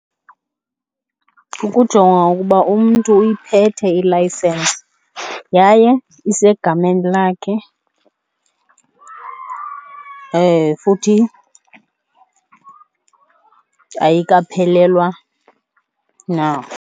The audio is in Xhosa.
Kukujongwa ukuba umntu uyiphethe ilayisensi yaye isegameni lakhe futhi ayikaphelwa na.